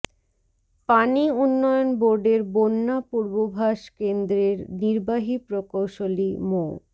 পানি উন্নয়ন বোর্ডের বন্যা পূর্বাভাস কেন্দ্রের নির্বাহী প্রকৌশলী মো